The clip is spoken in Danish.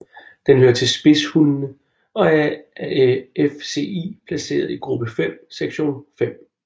Den hører til spidshundene og er af FCI placeret i gruppe 5 sektion 5